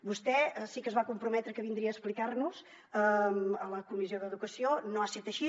vostè sí que es va comprometre que vindria a explicar nos ho a la comissió d’educació no ha set així